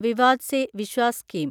Vivad se Vishwas scheme